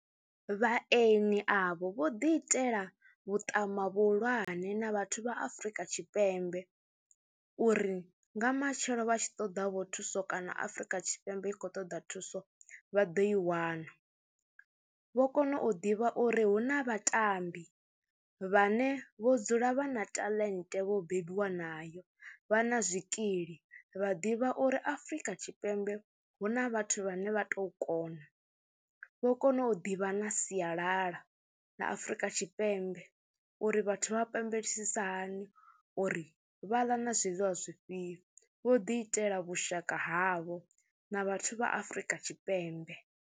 Vhaeni avho vho ḓiitela vhuṱama vhuhulwane na vhathu vha Afrika Tshipembe uri nga matshelo vha tshi ṱoḓavho thuso kana Afrika Tshipembe i khou ṱoḓa thuso vha ḓo i wana. Vho kona u ḓivha uri hu na vhatambi vhane vho dzula vha na talent, vho bebiwa nayo, vha na zwikili vha ḓivha uri Afrika Tshipembe hu na vhathu vhane vha tou kona, vho kona u ḓivha na sialala ḽa Afrika Tshipembe uri vhathu vha pembelisa hani uri vha ḽa na zwiḽiwa zwifhio vho ḓiitela vhushaka havho na vhathu vha Afrika Tshipembe.